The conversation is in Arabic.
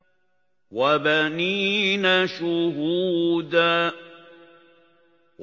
وَبَنِينَ شُهُودًا